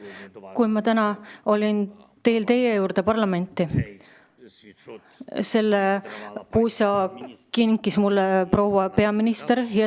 Täna, kui ma olin teel teie juurde parlamenti, kinkis proua peaminister mulle selle pusa.